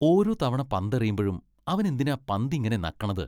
ഓരോ തവണ പന്തെറിയുമ്പഴും അവൻ എന്തിനാ പന്ത് ഇങ്ങനെ നക്കണത്?